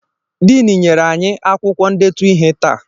Diini nyere anyị akwụkwọ ndetu ihe taa.